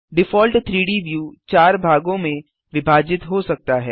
default 3डी view 4 भागों में विभाजित हो सकता है